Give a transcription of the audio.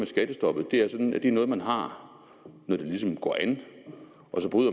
skattestoppet er sådan at det er noget man har når det ligesom går an